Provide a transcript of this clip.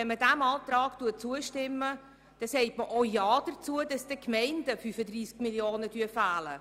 Wenn man diesem Antrag zustimmt, sagt man aber auch Ja dazu, dass dann den Gemeinden 35 Mio. Franken fehlen.